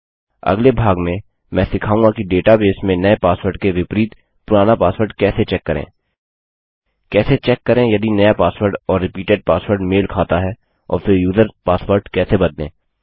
अगले भाग में मैं सिखाऊँगा कि डेटाबेस में नये पासवर्ड के विपरीत पुराना पासवर्ड कैसे चेक करें कैसे चेक करें यदि नया पासवर्ड और रिपीडेट पासवर्ड मेल खाता है और फिर यूजर्स पासवर्ड कैसे बदलें